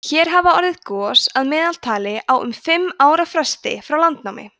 hér hafa orðið gos að meðaltali á um fimm ára fresti frá landnámi